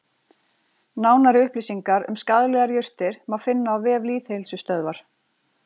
Nánari upplýsingar um skaðlegar jurtir má finna á vef Lýðheilsustöðvar.